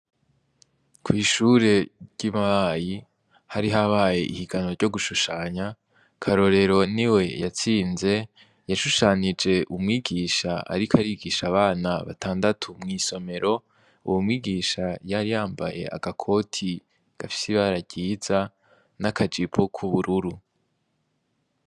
Kwishure ryi Mabayi hari habaye ihiganwa ryo gushushanya KARORERO niwe yatsinze yashushanije umwigisha ariko arigisha abana batandatu mw'isomero uwo mwigisha yari yambaye agakoti gafise ibara ryiza n'akajipo kubururu.